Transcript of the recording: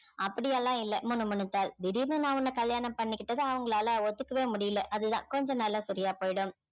அப்படி எல்லாம் இல்ல முணுமுணுத்தாள் திடீர்னு நான் உன்னை கல்யாணம் பண்ணிக்கிட்டத அவங்களால ஒத்துக்கவே முடியலை அது தான் கொஞ்ச நாள்ல சரியா போயிடும்